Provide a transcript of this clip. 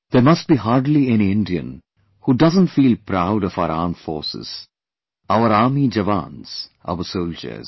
There must be hardly any Indian who doesn't feel proud of our Armed Forces, our army jawans, our soldiers